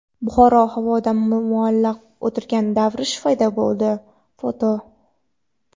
Buxoro havoda muallaq o‘tirgan darvish paydo bo‘ldi (foto).